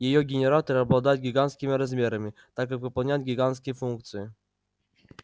её генераторы обладают гигантскими размерами так как выполняют гигантские функции